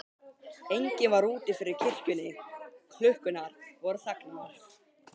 Enginn var úti fyrir kirkjunni, klukkurnar voru þagnaðar.